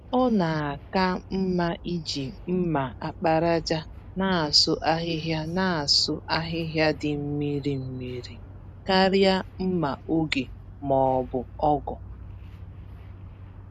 Ọ na-aka mmá iji mma àkpàràjà nasụ ahihia nasụ ahihia dị mmiri mmiri, karịa mma-ògè m'ọbụ ọ̀gụ̀